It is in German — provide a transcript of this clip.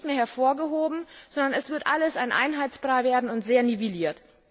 Die werden nicht mehr hervorgehoben, sondern es wird alles ein Einheitsbrei werden und sehr nivelliert.